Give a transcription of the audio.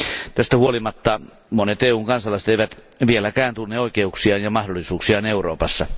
Tästä huolimatta monet EUn kansalaiset eivät vieläkään tunne oikeuksiaan ja mahdollisuuksiaan Euroopassa.